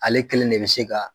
Ale kelen de bɛ se ka.